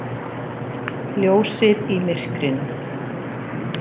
Ljósið í myrkrinu.